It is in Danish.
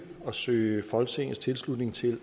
at søge folketingets tilslutning til